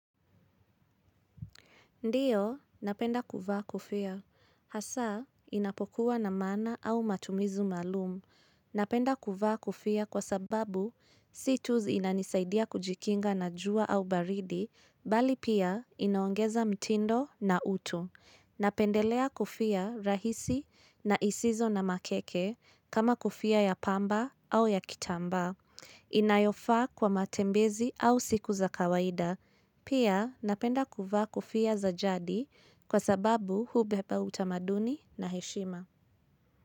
Ndiyo, napenda kuvaa kofia. Hasa inapokuwa na maana au matumizu maalum. Napenda kuvaa kofia kwa sababu si tu inanisaidia kujikinga na jua au baridi, bali pia inaongeza mtindo na utu. Napendelea kofia rahisi na isizo na makeke kama kofia ya pamba au ya kitambaa. Inayofaa kwa matembezi au siku za kawaida Pia napenda kuvaa kofia za jadi kwa sababu hubeba utamaduni na heshima.